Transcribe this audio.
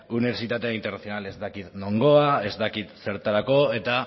unibertsitate internazional ez dakit nongoa ez dakit zertarako eta